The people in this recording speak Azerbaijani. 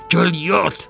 Gəl yat!